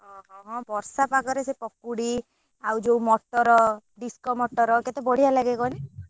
ହଁ ହଁ ହଁ ବର୍ଷା ପାଗ ରେ ସେ ପକୁଡି ଆଉ ଯଉ ମଟର disco ମଟର କେତେ ବଡିଆ ଲାଗେ କହନି।